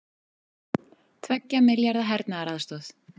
Tveggja milljarða hernaðaraðstoð